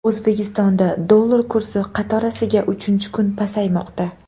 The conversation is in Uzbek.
O‘zbekistonda dollar kursi qatorasiga uchinchi kun pasaymoqda .